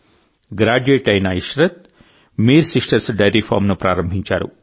graduate అయిన Ishrat Mir sisters dairy ఫామ్ను ప్రారంభించారు